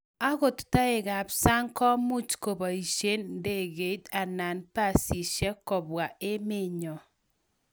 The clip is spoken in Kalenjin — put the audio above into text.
Agot taek qb sang komuch koboishe ndegeit anan busishek ko bwa emennyo